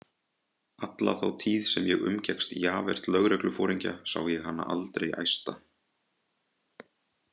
Alla þá tíð sem ég umgekkst Javert lögregluforingja sá ég hana aldrei æsta.